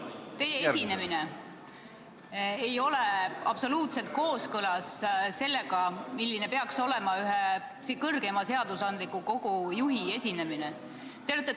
Teie esinemine ei ole absoluutselt kooskõlas sellega, milline peaks olema ühe kõrgeima seadusandliku kogu juhi esinemine.